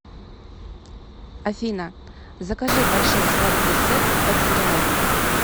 афина закажи большой сладкий сет под сериал